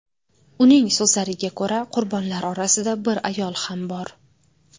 Uning so‘zlariga ko‘ra, qurbonlar orasida bir ayol ham bor.